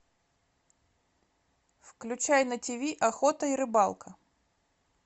включай на тиви охота и рыбалка